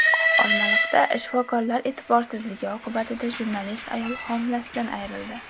Olmaliqda shifokorlar e’tiborsizligi oqibatida jurnalist ayol homilasidan ayrildi.